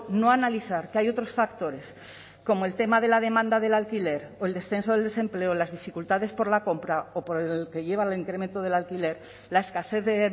no analizar que hay otros factores como el tema de la demanda del alquiler o el descenso del desempleo o las dificultades por la compra o por el que lleva al incremento del alquiler la escasez de